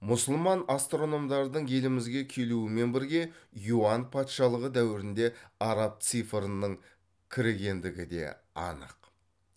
мұсылман астрономдардың елімізге келуімен бірге юань патшалығы дәуірінде араб цифрының кірігендігі де анық